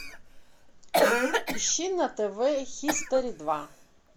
ищи на тв хистори два